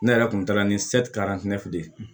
Ne yɛrɛ kun taara ni de ye